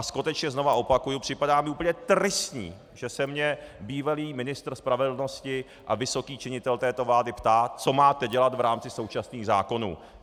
A skutečně znovu opakuji, připadá mi úplně tristní, že se mě bývalý ministr spravedlnosti a vysoký činitel této vlády ptá, co máte dělat v rámci současných zákonů.